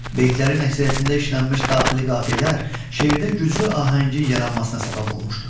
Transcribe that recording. Beytlərin əksəriyyətində işlənmiş daxili qafiyələr şeirdə güclü ahəngin yaranmasına səbəb olmuşdur.